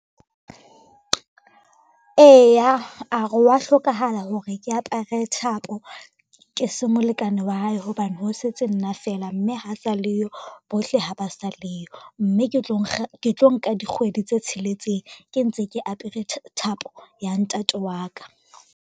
Eya, a re wa hlokahala hore ke apere thapo ke se molekane wa hae, hobane ho setse nna fela mme ha sa leyo, bohle ha ba sa leyo. Mme ke tlo nka dikgwedi tse tsheletseng ke ntse ke apere thapo ya ntate wa ka.